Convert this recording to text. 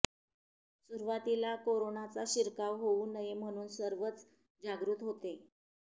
सुरुवातीला कोरोनाचा शिरकाव होऊ नये म्हणून सर्वच जागृत होते